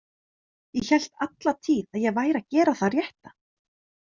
Ég hélt alla tíð að ég væri að gera það rétta.